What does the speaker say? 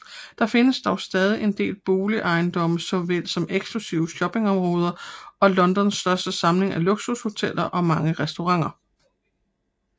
Der findes dog stadig en del boligejendomme såvel som eksklusive shoppingområder og Londons største samling af luksushoteller og mange restauranter